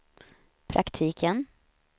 praktiken